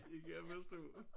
Det kan jeg forstå